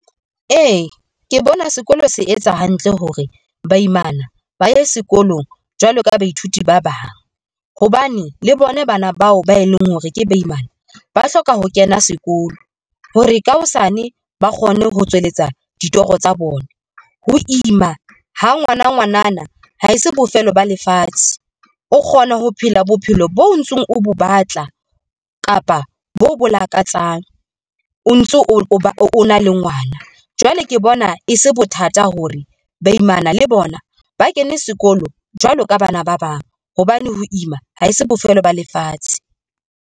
Ee, ke bona sekolo se etsa hantle hore baimana ba ye sekolong jwalo ka baithuti ba bang hobane le bona bana bao ba e leng hore ke baimana ba hloka ho kena sekolo hore ka hosane ba kgone ho tswelletsa ditoro tsa bona. Ho ima ha ngwana ngwanana ha se bofelo ba lefatshe, o kgona ho phela bophelo bo ntsong, o bo batla kapa bo bo lakatsang, o ntso o na le ngwana. Jwale Ke bona e se bothata hore baimana le bona ba kene sekolo jwalo ka bana ba bang, hobane ho ima ha se bofelo ba lefatshe.